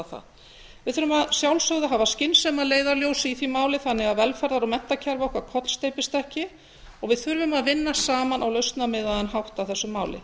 að sjálfsögðu að hafa skynsemi að leiðarljósi í því máli þannig að velferðar og menntakerfi okkar kollsteypist ekki og við þurfum að vinna saman á lausnamiðaðan hátt að þessu máli